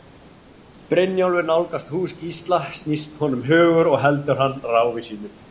Brynjólfur nálgast hús Gísla snýst honum hugur og heldur áfram ráfi sínu.